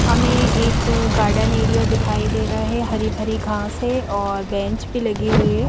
हमें एक garden area दिखाई दे रहा है हरी भरी घास है और बेंच भी लगी हुई है।